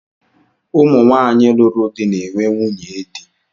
Ụmụ nwaanyị lụrụ di na-enwe nwunye di